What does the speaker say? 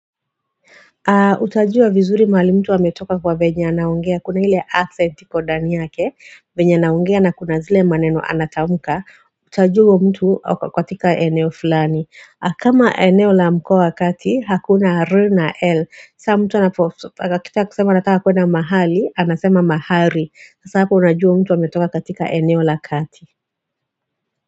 Utajua vizuri mahali mtu ametoka kwa venye anaongea kuna ile accent iko ndani yake venya naongea na kuna zile maneno anatamuka utajua mtu katika eneo fulani kama eneo la mkoa wa kati hakuna r na l saa mtu anapo akitaka kusema anataka kuenda mahali anasema mahari sasa hapo unajua mtu ametoka katika eneo la kati.